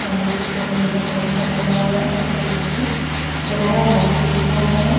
सामने की तरफ नीला पोस्टर लगा हुआ है सफेद रंग में केनेरा बैंक लिखा हुआ है।